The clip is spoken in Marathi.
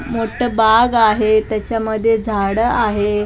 मोठं बाग आहे त्याच्यामध्ये झाडं आहे.